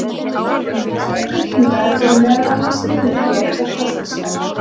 Innan þessarar fylkingar eru meðal annars ígulker og krossfiskar.